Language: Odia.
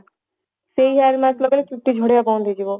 ସେଇ hair mask ଲଗେଇଲେ ଚୁଟି ଝଡିବା ବନ୍ଦ ହେଇଯିବ